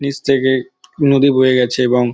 নীচ থেকে নদী বয়ে গেছে এবং--